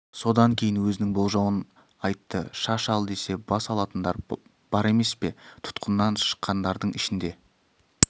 содан кейін өзінің болжауын айтты шаш ал десе бас алатындар бар емес пе тұтқыннан шыққандардың ішінде